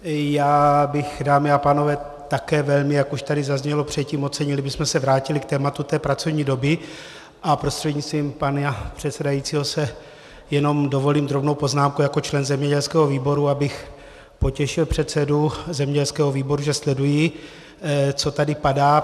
Já bych, dámy a pánové, také velmi, jak už tady zaznělo předtím, ocenil, kdybychom se vrátili k tématu té pracovní doby, a prostřednictvím pana předsedajícího si jenom dovolím drobnou poznámku jako člen zemědělského výboru, abych potěšil předsedu zemědělského výboru, že sleduji, co tady padá.